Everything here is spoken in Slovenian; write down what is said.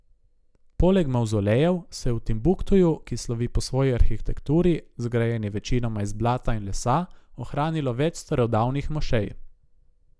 Poleg mavzolejev se je v Timbuktuju, ki slovi po svoji arhitekturi, zgrajeni večinoma iz blata in lesa, ohranilo več starodavnih mošej.